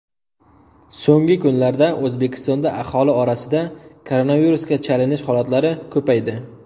So‘nggi kunlarda O‘zbekistonda aholi orasida koronavirusga chalinish holatlari ko‘paydi.